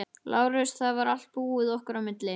LÁRUS: Það var allt búið okkar á milli.